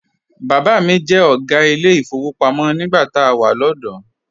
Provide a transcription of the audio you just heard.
Bàbá mi jẹ́ ọ̀gá ilé ìfowópamọ́ nígbà tá a wà lọ́dọ̀ọ́.